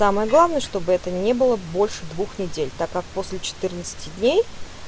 самое главное чтобы это не было больше двух недель так как после четырнадцати дней